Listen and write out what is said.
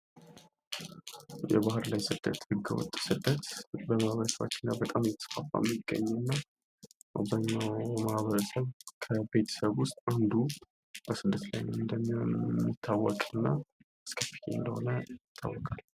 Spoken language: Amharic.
ህገወጥ ስደት፦ ህገወጥ ስደት በማህበረሰባችን ውስጥ በጣም እየተስፋፋ የሚገኝ እና ከአብዛኛው ማህበረሰብ ከቤተሰብ ውስጥ አንዱ በስደት ላይ እንደሆነ የሚታወቅ እና አስከፊ እንደሆነ ይታወቃል።